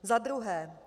Za druhé.